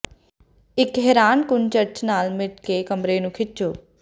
ਇਕ ਹੈਰਾਨਕੁੰਨ ਚਰਚ ਨਾਲ ਮਿਲ ਕੇ ਕਮਰੇ ਨੂੰ ਖਿੱਚੋ